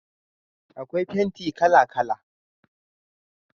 akwai fenti kala kala